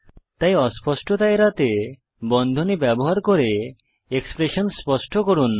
তাই অস্পষ্টতা এড়াতে বন্ধনী ব্যবহার করে এক্সপ্রেশন স্পষ্ট করুন